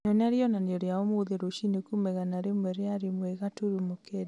nyonia rĩonanio rĩa ũmũthĩ rũciinĩ kuuma igana rĩmwe rĩa ĩmwe gaturumo kenda